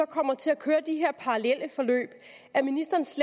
kommer til at køre de her parallelle forløb er ministeren så